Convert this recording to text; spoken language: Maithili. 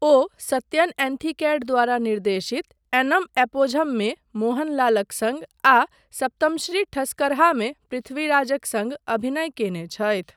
ओ सत्यन एंथिकैड द्वारा निर्देशित एन्नम एपोझममे मोहनलालक सङ्ग आ सप्तमश्री ठस्करहामे पृथ्वीराजक सङ्ग अभिनय कयने छथि।